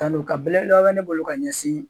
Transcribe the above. Tanto kan belebele be ne bolo ka ɲɛsin